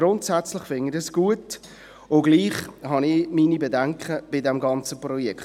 Grundsätzlich finde ich das gut, und gleichwohl habe ich meine Bedenken bei diesem ganzen Projekt.